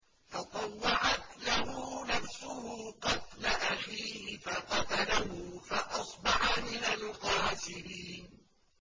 فَطَوَّعَتْ لَهُ نَفْسُهُ قَتْلَ أَخِيهِ فَقَتَلَهُ فَأَصْبَحَ مِنَ الْخَاسِرِينَ